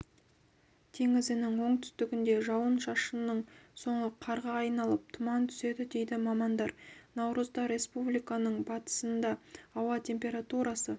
теңізінің оңтүстігінде жауын-шашынның соңы қарға айналып тұман түседі дейді мамандар наурызда республиканың батысында ауа температурасы